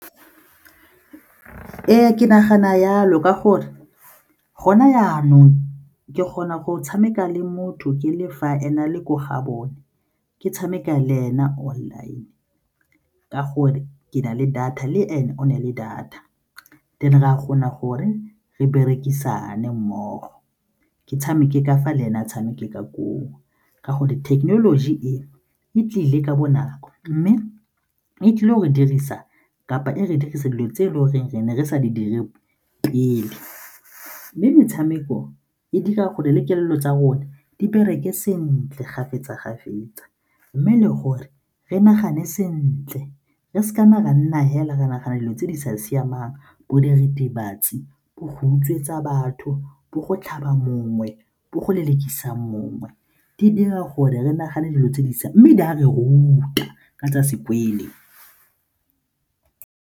Ee, ke nagana jalo ka gore gona jaanong ke kgona go tshameka le motho ke le fa ena a le ko gabone ke tshameka le ena online ka gore ke na le data le ene o ne le data teng and-e rea kgona goreng re berekisane mmogo ke tshameke ka fa le ene a tshameke ka koo ka gore thekenoloji e e tlile ka bonako mme e tlile go re dirisa kapa e re dirisa dilo tse e le goreng re ne re sa di dire pele. Mme metshameko e dira gore le kelello tsa rona di bereke sentle kgafetsa-kgafetsa mme le gore re nagane sentle re seka na ra nna fela ra nagane dilo tse di sa siamang bo diritibatsi, bo go utswetsa batho, bo go tlhaba mongwe, bo go lelekisana mongwe, di dira gore re nagane dilo tse di mme di a re ruta ka tsa .